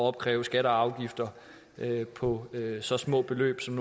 opkræve skatter og afgifter på så små beløb som